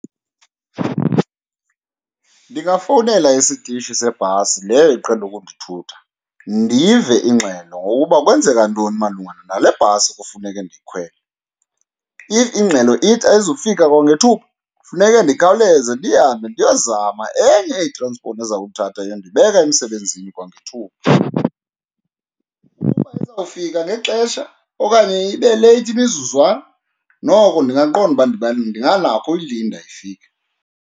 Ndingafowunela isitishi sebhasi leyo iqhele ukundithutha ndive ingxelo ngokuba kwenzeka ntoni malunga nale bhasi kufuneke ndiyikhwele. If ingxelo ithi ayizufika kwangethuba kufuneke ndikhawuleze ndihambe ndiyozama enye itranspoti ezawuthatha iyondibeka emsebenzini kwangethuba. Ukuba izawufika ngexesha okanye ibe leyithi imizuzwana, noko ndingaqonda uba ndinganakho uyilinda ifike.